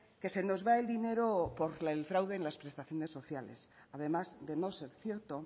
que se nos va el dinero por el fraude en las prestaciones sociales además de no ser cierto